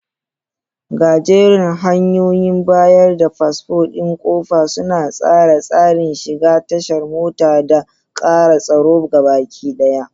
Gajerun hanyoyin bayar da fasfo ɗin ƙofa suna tsara tsarin shiga tashar mota da ƙara tsaro gabaɗaya.